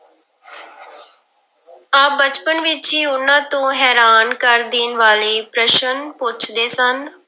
ਆਪ ਬਚਪਨ ਵਿੱਚ ਹੀ ਉਹਨਾਂ ਤੋਂ ਹੈਰਾਨ ਕਰ ਦੇਣ ਵਾਲੇ ਪ੍ਰਸ਼ਨ ਪੁੱਛਦੇ ਸਨ।